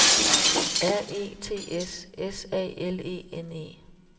R E T S S A L E N E